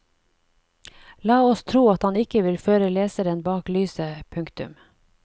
La oss tro at han ikke vil føre leseren bak lyset. punktum